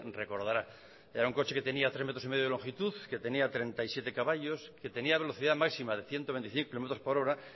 recordará era un coche que tenía tres metros y medio de longitud que tenía treinta y siete caballos que tenía velocidad máxima de ciento veinticinco kilómetros por hora